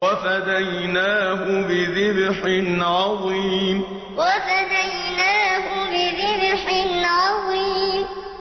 وَفَدَيْنَاهُ بِذِبْحٍ عَظِيمٍ وَفَدَيْنَاهُ بِذِبْحٍ عَظِيمٍ